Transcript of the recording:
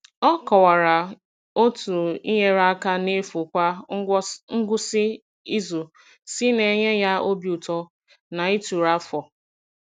Ọ kọwara otú inyere aka n’efu kwa ngwụsị izu si na-enye ya obi ụtọ na ituru afọ.